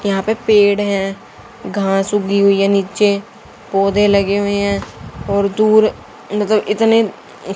यहां पे पेड़ है घास उगी हुई है नीचे पौधे लगे हुए हैं और दूर मतलब इतनी--